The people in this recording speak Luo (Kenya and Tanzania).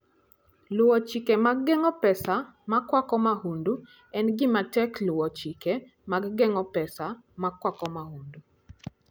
Luwo Chike mag Geng'o Pesa Makwako Mahundu: En gima tek luwo chike mag geng'o pesa makwako mahundu.